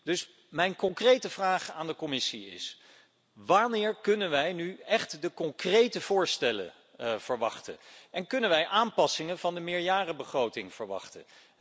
Dus, mijn concrete vraag aan de Commissie is wanneer kunnen wij concrete voorstellen verwachten? En kunnen wij aanpassingen van de meerjarenbegroting verwachten?